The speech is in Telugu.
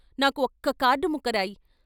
నాకు ఒక్క కార్డు ముక్క రాయి....